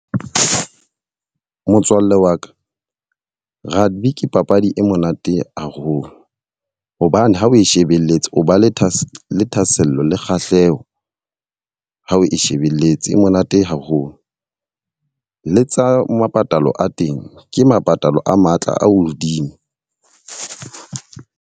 Motswalle wa ka, rugby ke papadi e monate haholo. Hobane ha o shebelletse o ba le thahasello, thahasello le kgahleho ha o e shebelletse, e monate haholo. Le tsa mepatalo a teng, ke mepatalo a matla a hodimo.